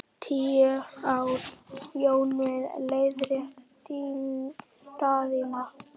Tíu ár Jón minn, leiðrétti Daðína.